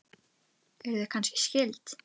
Eruð þið kannski skyld?